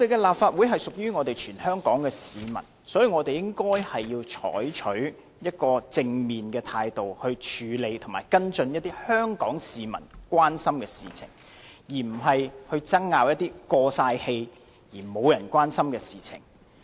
立法會是屬於全香港的市民，所以我們應該採取正面的態度來處理和跟進香港市民所關注的事情，而不是爭拗一些"過晒氣"而沒有人關心的事情。